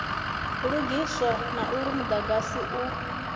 lugiswa na uri mudagasi u